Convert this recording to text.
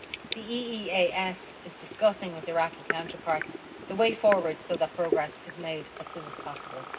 The EEAS is discussing with Iraqi counterparts the way forward so that progress is made as soon as possible.